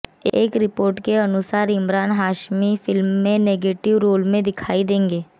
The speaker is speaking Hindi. एक रिपोर्ट के अनुसार इमरान हाशमी फिल्म में नेगेटिव रोल में दिखाई देंगे